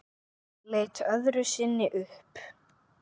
Leit öðru sinni upp.